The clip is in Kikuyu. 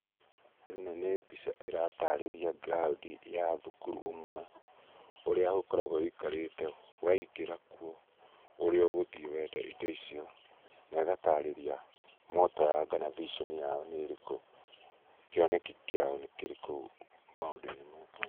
ĩno nĩ mbica ĩratarĩria ground ya thukuru ũmwe, ũrĩa ũkoragwo wĩikarĩte, waingĩra kuo ũrĩa ũgũthiĩ wenda indo icio na ĩgatarĩria motto yao kana vision yao nĩ ĩrĩkũ, kĩoneki kĩao nĩ kĩrĩkũ maũndũ-inĩ maya.